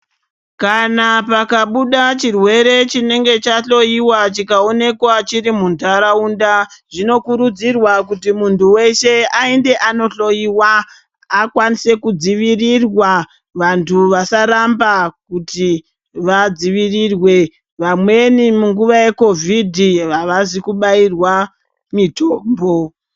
Kana pakabuda chirwere chinenge chahloyiwa chikaonekwa chiri muntaraunda, zvinokurudzirwa kuti muntu weshe aende anohloyiwa akwanise kudzivirirwa, vantu vasaramba kuti vadzivirirwe. Vamweni munguva yeKhovhidhi havazi kubairwa mitombo.